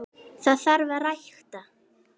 Það þarf að rækta.